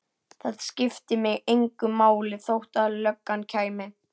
Það skipti mig engu máli þótt löggan kæmi.